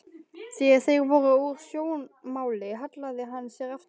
Þegar þeir voru úr sjónmáli hallaði hann sér aftur.